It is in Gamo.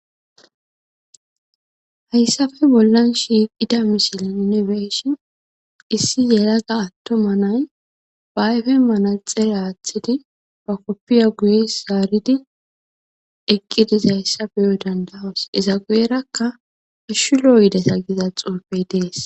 Haysappe bollani shiqidda misile nuni beyishn issi yelaga atuma nayi ba ayfeni manaxera aathidi ba kopiya guye zaaridi eqi dizaysa beyk danda'os, iza guyeraka hashu lo'o yideta giza xuufeyi desi. .